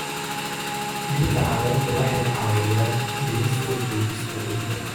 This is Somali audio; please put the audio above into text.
Dhirta caleenta waxay caawiyaan dhimista duugista ciidda.